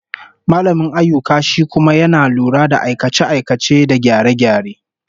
Mallamin ayyuka shi kuma yana lura da aikace-aikace da gyare-gyare